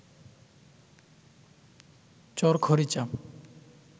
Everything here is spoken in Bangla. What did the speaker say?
চর খরিচা